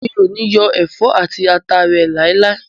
Mi o ni yọ ẹfọ ati ata re lailai.